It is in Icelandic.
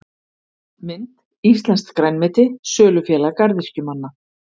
Mynd: Íslenskt grænmeti- Sölufélag garðyrkjumanna.